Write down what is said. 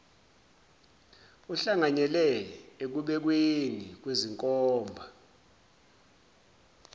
uhlanganyele ekubekweni kwezinkomba